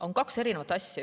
On kaks erinevat asja.